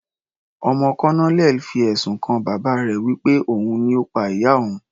Ọmọ colonel fi ẹ̀sùn kan bàbá rẹ̀ wí pé òun ni Ó pa ìyá òun.